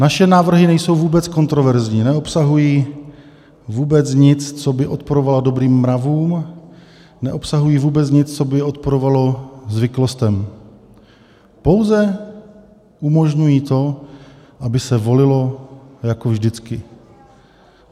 Naše návrhy nejsou vůbec kontroverzní, neobsahují vůbec nic, co by odporovalo dobrým mravům, neobsahují vůbec nic, co by odporovalo zvyklostem, pouze umožňují to, aby se volilo jako vždycky.